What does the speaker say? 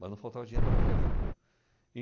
Mas não faltava dinheiro para comprar livro.